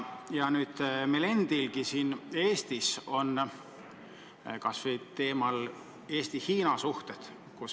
Nüüd on meil siin Eestis üleval teema Eesti-Hiina suhted.